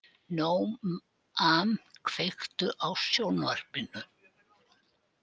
Nóam, kveiktu á sjónvarpinu.